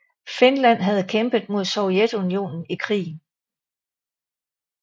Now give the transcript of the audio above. Finland havde kæmpet mod Sovjetunionen i krigen